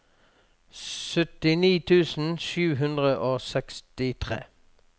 syttini tusen sju hundre og sekstitre